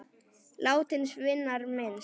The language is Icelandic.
Látins vinar minnst.